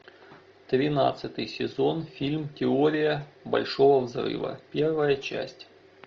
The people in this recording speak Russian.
тринадцатый сезон фильм теория большого взрыва первая часть